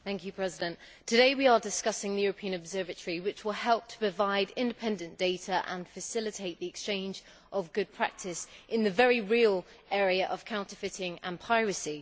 Mr President, today we are discussing the European Observatory, which will help to provide independent data and facilitate the exchange of good practice in the very real area of counterfeiting and piracy.